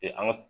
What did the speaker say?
an ka